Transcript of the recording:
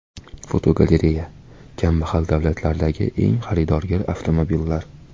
Fotogalereya: Kambag‘al davlatlardagi eng xaridorgir avtomobillar.